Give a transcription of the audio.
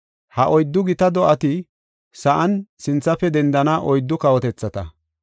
‘Ha oyddu gita do7ati sa7an sinthafe dendana oyddu kawotethata.